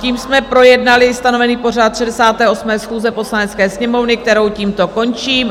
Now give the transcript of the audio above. Tím jsme projednali stanovený pořad 68. schůze Poslanecké sněmovny, kterou tímto končím.